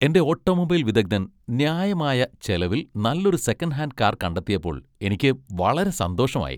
എന്റെ ഓട്ടോമൊബൈൽ വിദഗ്ധൻ ന്യായമായ ചിലവിൽ നല്ലൊരു സെക്കൻഡ് ഹാൻഡ് കാർ കണ്ടെത്തിയപ്പോൾ എനിക്ക് വളരെ സന്തോഷമായി.